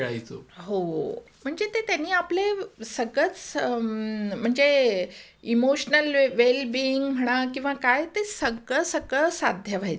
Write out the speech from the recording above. हो, म्हणजे ते त्यांनी आपले सतत स म्हणजे इमोशनल वेलबींग म्हणा किंवा काय ते सगळं सगळं साध्य व्हायचं.